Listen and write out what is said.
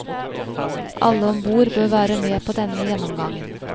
Alle om bord bør være med på denne gjennomgangen.